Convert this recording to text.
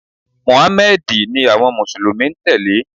Mùháméèdì ni àwon mùsùlùmí n tèlé